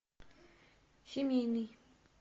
семейный